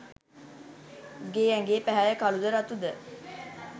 උගේ ඇඟේ පැහැය කළුද රතුද